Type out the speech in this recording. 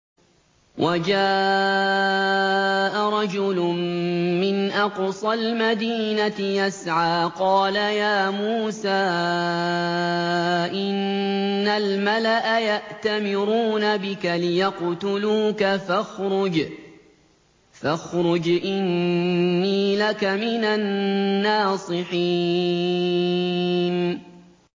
وَجَاءَ رَجُلٌ مِّنْ أَقْصَى الْمَدِينَةِ يَسْعَىٰ قَالَ يَا مُوسَىٰ إِنَّ الْمَلَأَ يَأْتَمِرُونَ بِكَ لِيَقْتُلُوكَ فَاخْرُجْ إِنِّي لَكَ مِنَ النَّاصِحِينَ